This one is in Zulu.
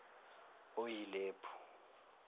oyilephu